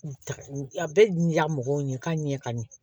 A bɛ di ya mɔgɔw ye ka ɲɛ ka ɲɛ